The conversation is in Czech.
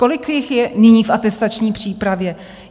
Kolik jich je nyní v atestační přípravě?